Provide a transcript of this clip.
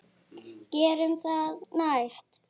Gerum það næst.